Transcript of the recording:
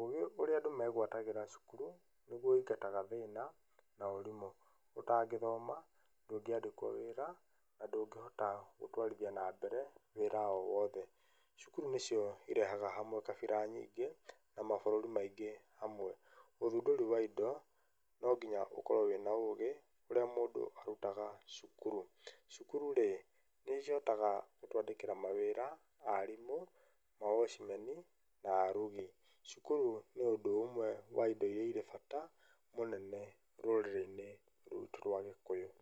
ũgĩ ũrĩa andũ megwatagĩra cukuru, nĩguo wĩingataga thĩna, norimũ, ũtangĩthoma ndũngĩandĩkwo wĩra, na ndũngĩhota gũtwarithia nambere wĩra o wothe, cukuru nĩcio cirehaga hamwe kabira nyingĩ, na mabũrũri maingĩ hamwe, ũthundũri waindo no nginya ũkorwo wĩnaũgĩ ũrĩa mũndũ arutaga cukuru, cukuru rĩ nĩcihotaga gũtwandĩkĩra mawĩra, arimũ, mawocimeni, na rugi, cukuru nĩ ũndũ ũmwe wa indo iria irĩ bata mũnene rũrĩrĩ-in rwitũ rwa gĩkũyũ.